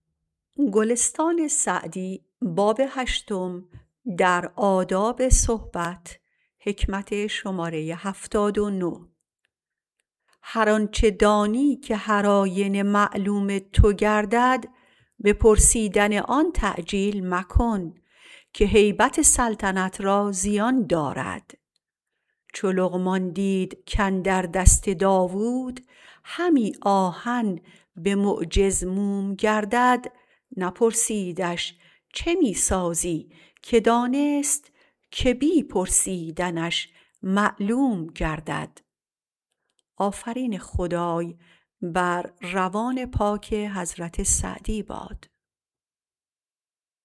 هر آنچه دانی که هر آینه معلوم تو گردد به پرسیدن آن تعجیل مکن که هیبت سلطنت را زیان دارد چو لقمان دید کاندر دست داوود همی آهن به معجز موم گردد نپرسیدش چه می سازی که دانست که بی پرسیدنش معلوم گردد